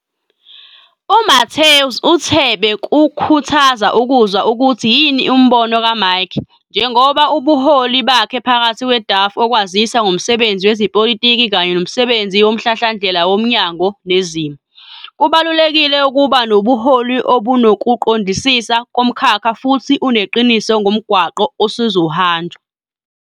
U-Mathews uthe bekukhuthaza ukuzwa ukuthi yini umbono kaMike, njengoba ubuholi bakhe phakathi kwe-DAFF okwazisa ngomsebenzi wezepolitiki kanye nomsebenzi womhlahlandlela womnyango nezimo. Kubalulekile ukuba nobuholi ubunokuqondisisa komkhakha futhi uneqiniso ngomgwaqo osezohanjwa.